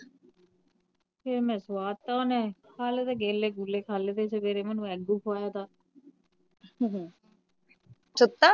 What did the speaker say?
ਫਿਰ ਮੈ ਸਵਾਤਾ ਓਹਨੇ ਹਾਲੇ ਤਾ ਕੇਲੇ ਕੁਲੇ ਖਾਲੇ ਤੇ ਸਵੇਰੇ ਮੈਨੂੰ ਅਗ ਖਵਾਇਆ ਥਾ